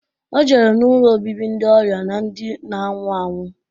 O jere n'ụlọ obibi ndị ọrịa na ndi na-anwụ anwụ.